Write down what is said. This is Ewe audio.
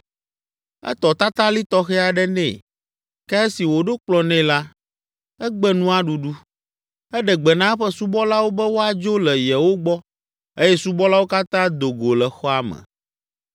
Etɔ tatalĩ tɔxɛ aɖe nɛ, ke esi wòɖo kplɔ̃ nɛ la, egbe nua ɖuɖu! Eɖe gbe na eƒe subɔlawo be woadzo le yewo gbɔ eye subɔlawo katã do go le xɔa me.